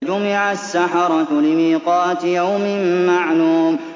فَجُمِعَ السَّحَرَةُ لِمِيقَاتِ يَوْمٍ مَّعْلُومٍ